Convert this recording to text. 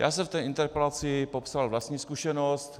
Já jsem v té interpelaci popsal vlastní zkušenost.